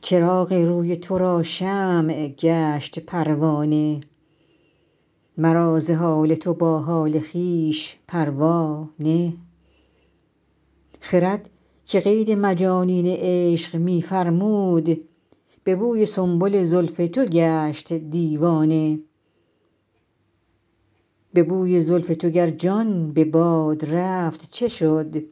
چراغ روی تو را شمع گشت پروانه مرا ز حال تو با حال خویش پروا نه خرد که قید مجانین عشق می فرمود به بوی سنبل زلف تو گشت دیوانه به بوی زلف تو گر جان به باد رفت چه شد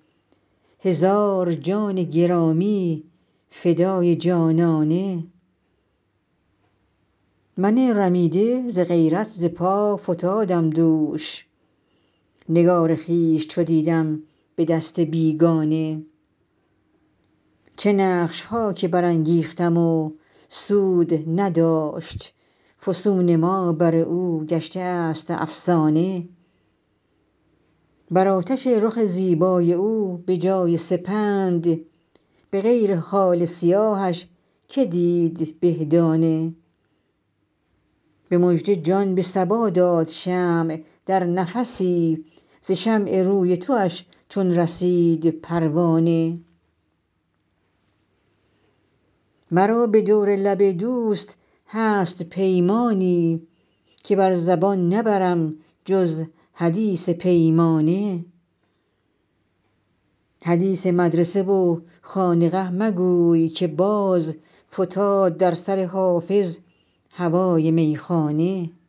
هزار جان گرامی فدای جانانه من رمیده ز غیرت ز پا فتادم دوش نگار خویش چو دیدم به دست بیگانه چه نقش ها که برانگیختیم و سود نداشت فسون ما بر او گشته است افسانه بر آتش رخ زیبای او به جای سپند به غیر خال سیاهش که دید به دانه به مژده جان به صبا داد شمع در نفسی ز شمع روی تواش چون رسید پروانه مرا به دور لب دوست هست پیمانی که بر زبان نبرم جز حدیث پیمانه حدیث مدرسه و خانقه مگوی که باز فتاد در سر حافظ هوای میخانه